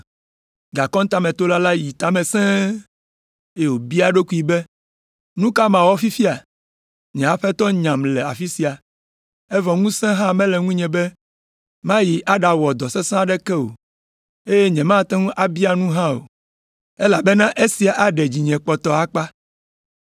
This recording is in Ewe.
“Gakɔntametola la yi ta me sẽe, eye wòbia eɖokui be, ‘Nu ka mawɔ fifia? Nye aƒetɔ nyam le afi sia, evɔ ŋusẽ hã mele ŋunye be mayi aɖawɔ dɔ sesẽ aɖeke o, eye nyemate ŋu abia nu hã o, elabena esia aɖe dzinye kpɔtɔ akpa.